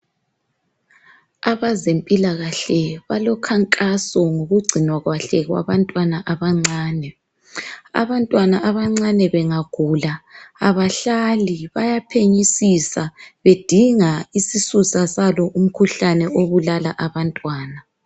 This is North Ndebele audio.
Abezempilakahle balokhankaso ngokugcinwa kuhle kwabantwana abancane. Abantwana abancane bangagula, kabahlali. Bayaphenyisisa, bedinga isisusa salo umikhuhlane obulala abantwana..